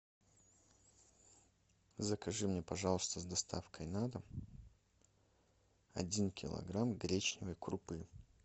закажи мне пожалуйста с доставкой на дом один килограмм гречневой крупы